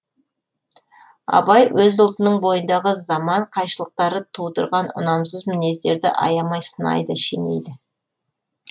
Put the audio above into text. абай өз ұлтының бойындағы заман қайшылықтары тудырған ұнамсыз мінездерді аямай сынайды шенейді